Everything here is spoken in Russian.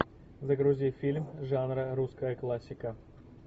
загрузи фильм жанра русская классика